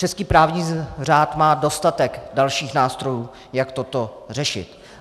Český právní řád má dostatek dalších nástrojů, jak toto řešit.